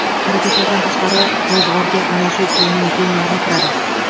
Xarajatlardan tashqari, ro‘zg‘orga ana shu pulning teng yarmi kiradi.